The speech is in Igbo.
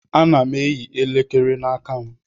Ana m eyi elekere n'aka m.